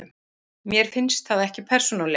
Mér finnst það ekki, persónulega.